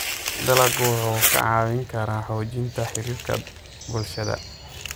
Dalaggu wuxuu kaa caawin karaa xoojinta xiriirka bulshada.